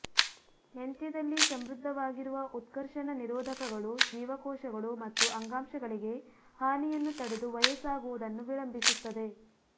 ಮೆಂತ್ಯದಲ್ಲಿ ಸಮೃದ್ಧವಾಗಿರುವ ಉತ್ಕರ್ಷಣ ನಿರೋಧಕಗಳು ಜೀವಕೋಶಗಳು ಮತ್ತು ಅಂಗಾಂಶಗಳಿಗೆ ಹಾನಿಯನ್ನು ತಡೆದು ವಯಸ್ಸಾಗುವುದನ್ನು ವಿಳಂಬಿಸುತ್ತದೆ